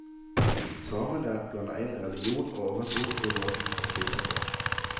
Samene blander inn religion og overtro i måten å spise på.